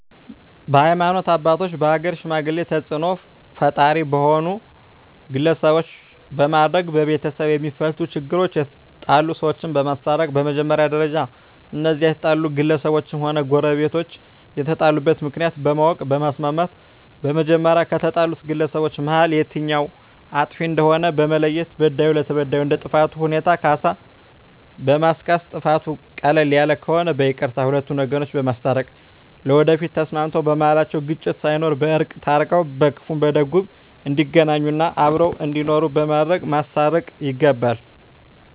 በሀይማኖት አባቶች በሀገር ሽማግሌ ተፅእኖ ፈጣሪ በሆኑ ግለሰቦች በማድረግ በቤተሰብ የማፈቱ ችግሮች የተጣሉ ሰዎችን በማስታረቅ በመጀመሪያ ደረጃ እነዚያ የተጣሉ ግለሰቦችም ሆነ ጎረቤቶች የተጣሉበትን ምክንያት በማወቅ በማስማማት በመጀመሪያ ከተጣሉት ግለሰቦች መሀል የትኛዉ አጥፊ እንደሆነ በመለየት በዳዩ ለተበዳዩ እንደ ጥፋቱ ሁኔታ ካሳ በማስካስ ጥፋቱ ቀለል ያለ ከሆነ በይቅርታ ሁለቱን ወገኖች በማስታረቅ ለወደፊቱ ተስማምተዉ በመሀላቸዉ ግጭት ሳይኖር በእርቅ ታርቀዉ በክፉም በደጉም እንዲገናኙ እና አብረዉ እንዲኖሩ በማድረግ ማስታረቅ ይገባል